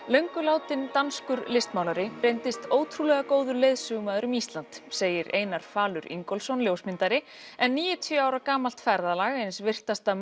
löngu látinn danskur listmálari reyndist ótrúlega góður leiðsögumaður um Ísland segir Einar falur Ingólfsson ljósmyndari en níutíu ára gamalt ferðalag eins virtasta